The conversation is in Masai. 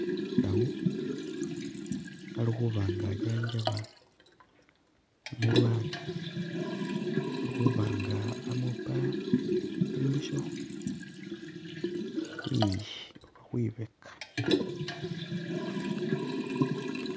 Umusawu alikhuba nga anjanjaba umulwale alikhuba nga amupa imbisho khwiyi oba khwibeka